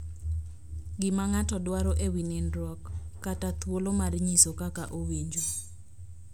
Gima ng�ato dwaro e wi nindruok, kata thuolo mar nyiso kaka owinjo.